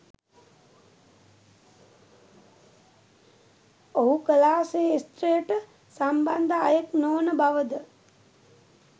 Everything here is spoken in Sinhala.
ඔහු කලා කේෂත්‍රයට සම්බන්ධ අයෙක් නොවන බවද